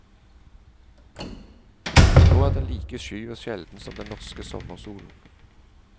Nå er den like sky og sjelden som den norske sommersolen.